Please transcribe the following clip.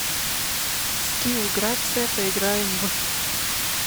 скилл грация поиграем в